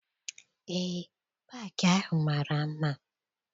Eé, paakị ahụ mara mma.